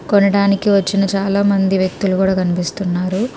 కొనడానికి వచ్చిన చాలా మంది వ్యక్తిలు కూడా కినిపిస్తున్నారు.